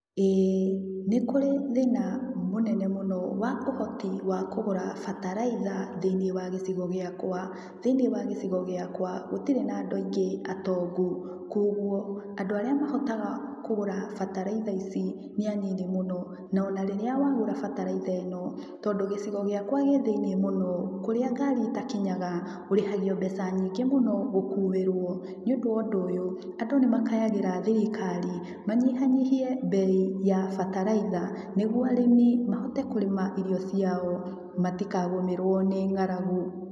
Ĩĩ nĩkũrĩ thĩna mũnene mũno wa ũhoti wa kũgũra bataraitha thĩinĩ wa gĩcigo gĩakwa. Thĩinĩ wa gicigo gĩakwa gũtirĩ na andũ aingĩ atongu koguo andũ arĩa mahotaga kũgũra bataraitha ici nĩ anini mũno na ona rĩrĩa wagũra bataraitha ĩno, tondũ gĩcigo gĩakwa gĩ thĩini mũno kũrĩa ngari itakinyaga ũrĩhagio mbeca myingĩ mũno gũkuirwo. Nĩũndũ wa ũndũ ũyũ andũ nĩmakayagĩra thirikari manyihanyihie mbei ya bataraitha nĩguo arĩmi mahote kũrĩma irio ciao matikagũmĩrwo nĩ ng'aragu.